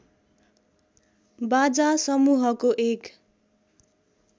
बाजा समूहको एक